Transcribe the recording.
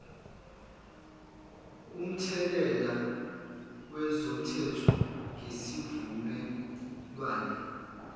umthelela wezomthetho ngesivumelwane